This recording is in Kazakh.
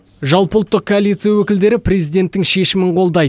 жалпыұлттық коалиция өкілдері президенттің шешімін қолдайды